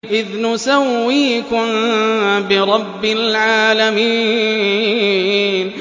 إِذْ نُسَوِّيكُم بِرَبِّ الْعَالَمِينَ